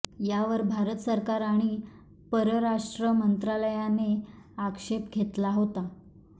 यावर भारत सरकार आणि परराष्ट्र मंत्रालयाने आक्षेप घेतला होता